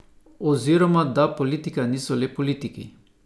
Oziroma da politika niso le politiki.